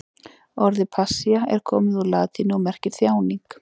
Orðið passía er komið úr latínu og merkir þjáning.